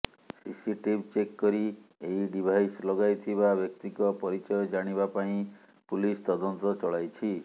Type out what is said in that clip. CCTV check କରି ଏହି device ଲଗାଇଥିବା ବ୍ୟକ୍ତିଙ୍କ ପରିଚୟ ଜାଣିବା ପାଇଁ ପୁଲିସ ତଦନ୍ତ ଚଳାଇଛି